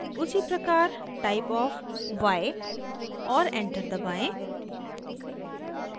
उसीप्रकार typeofy और enter दबाएं